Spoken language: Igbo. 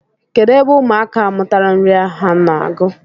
Kedụ ebe ụmụaka a mụtara uri a ha na-agụ?